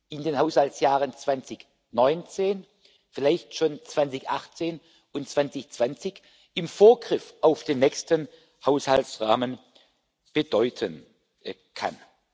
in den Haushaltsjahren 2019 vielleicht schon 2018 und 2020 im Vorgriff auf den nächsten Haushaltsrahmen bedeuten kann.